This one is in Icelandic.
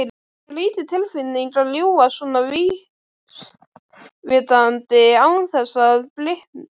Skrýtin tilfinning að ljúga svona vísvitandi án þess að blikna.